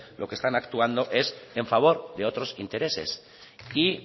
lo que están actuando es en favor de otros intereses y